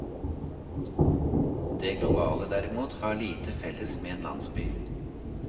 Det globale, derimot, har lite felles med en landsby.